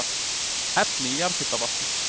Efni í jarðhitavatni